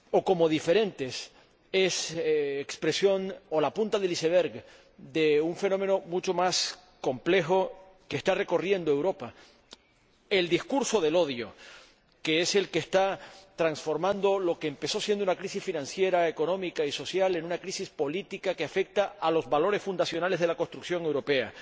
o diferentes son la expresión o la punta del iceberg de un fenómeno mucho más complejo que está recorriendo Europa el discurso del odio, que es el que está transformando lo que empezó siendo una crisis financiera, económica y social en una crisis política que afecta a los valores fundacionales de la construcción europea.